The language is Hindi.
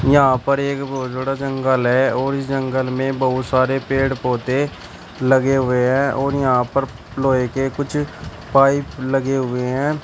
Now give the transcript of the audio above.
यहां पर एक बहोत बड़ा जंगल है और जंगल में बहुत सारे पेड़ पौधे लगे हुए हैं और यहां पर लोहे के कुछ पाइप लगे हुए हैं।